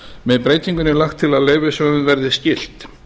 með breytingunni er lagt til að leyfishöfum verði skylt